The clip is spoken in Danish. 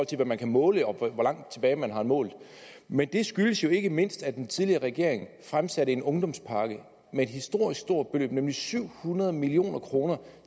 til hvad man kan måle og hvor langt tilbage man har målt men det skyldes jo ikke mindst at den tidligere regering fremsatte en ungdomspakke med et historisk stort beløb nemlig syv hundrede million kr